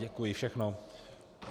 Děkuji, všechno.